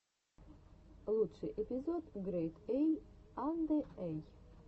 лучший эпизод грэйд эй анде эй